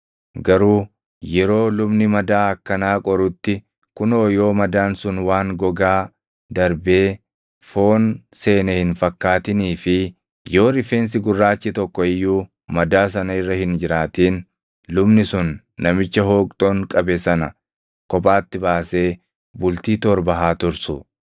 Garuu yeroo lubni madaa akkanaa qorutti kunoo yoo madaan sun waan gogaa darbee foon seene hin fakkaatinii fi yoo rifeensi gurraachi tokko iyyuu madaa sana irra hin jiraatin lubni sun namicha hooqxoon qabe sana kophaatti baasee bultii torba haa tursu.